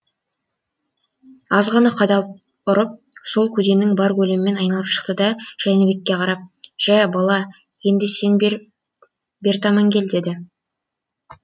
аз ғана қадалып ұрып сол көденің бар көлемін айналып шықты да жәнібекке қарап жә бала енді сен бер таман кел деді